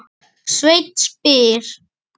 Sveinn spyr